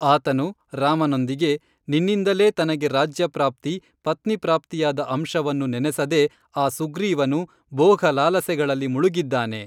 ಆತನು ರಾಮನೊಂದಿಗೇ ನಿನ್ನಿಂದಲೇ ತನಗೇ ರಾಜ್ಯಪ್ರಾಪ್ತಿ ಪತ್ನಿಪ್ರಾಪ್ತಿಯಾದ ಅಂಶವನ್ನು ನೆನೆಸದೆ ಆ ಸುಗ್ರೀವನು ಭೋಗಲಾಲಸೆಗಳಲ್ಲಿ ಮುಳುಗಿದ್ದಾನೆ